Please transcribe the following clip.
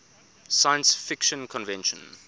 science fiction convention